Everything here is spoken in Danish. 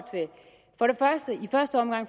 første omgang